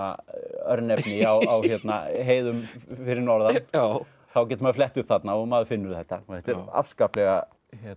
örnefni á heiðum fyrir norðan þá getur maður flett upp þarna og maður finnur þetta þetta er afskaplega